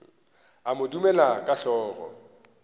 a mo dumela ka hlogo